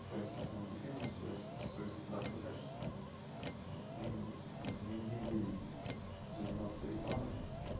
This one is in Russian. своя система обучения свои свои стандарты качества вот мы не ну не будем заниматься рекламой